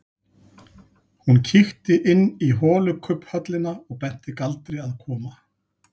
Hún kíkti inn í holukubbhöllina og benti Galdri að koma.